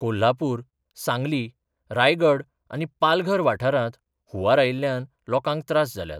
कोल्हापूर, सांगली, रायगड आनी पालघर वाठारांत हुंवार आयिल्ल्यान लोकांक त्रास जाल्यात.